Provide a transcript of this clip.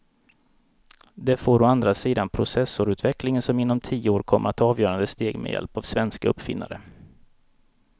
Det får å andra sidan processorutvecklingen som inom tio år kommer att ta avgörande steg med hjälp av svenska uppfinnare.